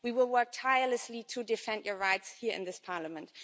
We will work tirelessly to defend your rights here in this Parliament.